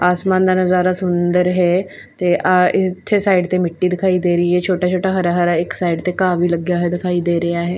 ਆਸਮਾਨ ਦਾ ਨਜ਼ਾਰਾ ਸੁੰਦਰ ਹੈ ਤੇ ਅ ਇਥੇ ਸਾਈਡ ਤੇ ਮਿੱਟੀ ਦਿਖਾਈ ਦੇ ਰਹੀ ਹੈ ਛੋਟਾ-ਛੋਟਾ ਹਰਾ-ਹਰਾ ਇੱਕ ਸਾਈਡ ਤੇ ਘਾਹ ਵੀ ਲੱਗਿਆ ਹੋਇਆ ਦਿਖਾਈ ਦੇ ਰਿਹਾ ਹੈ।